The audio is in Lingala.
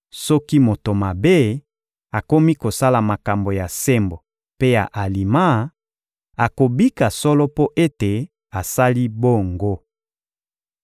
Soki moto mabe akomi kosala makambo ya sembo mpe ya alima, akobika solo mpo ete asali bongo.